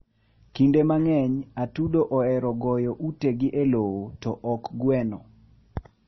Kinde mang'eny, atudo ohero goyo utegi e lowo, to ok gweno.